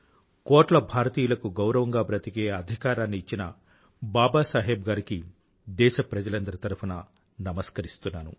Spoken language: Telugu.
కోట్ల భారతీయులకు గౌరవంగా బ్రతికే అధికారాన్ని ఇచ్చిన బాబాసాహెబ్ గారికి దేశప్రజలందరి తరఫునా నమస్కరిస్తున్నాను